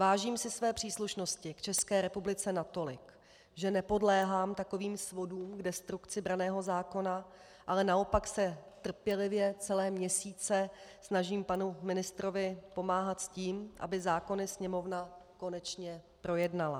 Vážím si své příslušnosti k České republice natolik, že nepodléhám takovým svodům k destrukci branného zákona, ale naopak se trpělivě celé měsíce snažím panu ministrovi pomáhat s tím, aby zákony Sněmovna konečně projednala.